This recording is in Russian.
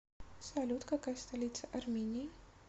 салют какая столица армении